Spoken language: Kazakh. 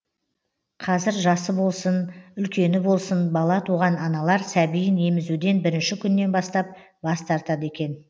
қазір жасы болсын үлкені болсын бала туған аналар сәбиін емізуден бірінші күннен бастап бас тартады екен